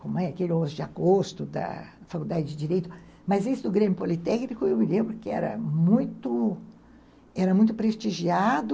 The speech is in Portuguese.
como é aquele onze de agosto da Faculdade de Direito, mas esse do Grêmio Politécnico, eu me lembro que era muito era muito prestigiado